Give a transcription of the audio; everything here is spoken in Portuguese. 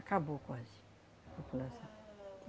Acabou quase, população.